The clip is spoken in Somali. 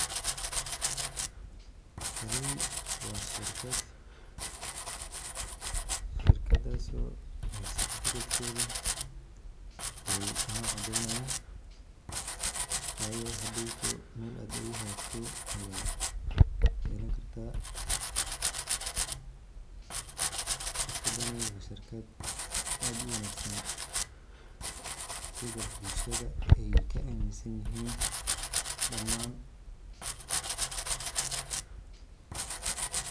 Taani waa shirkad, shirkadas oo certificate-keda ino cadeynayan wayo hadhowto Mel ad ogu hagagto ayad yelan karta, shirkadani waa shirkad aad u wanaagsan sida bulshada ay ka aminsan yihiin dhamaan